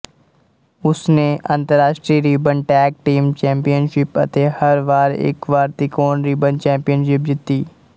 ਉਸਨੇ ਅੰਤਰਰਾਸ਼ਟਰੀ ribbon tag team championship ਅਤੇ ਹਰ ਵਾਰ ਇਕ ਵਾਰ ਤਿਕੋਣ ਰਿਬਨ ਚੈਂਪੀਅਨਸ਼ਿਪ ਜਿੱਤੀ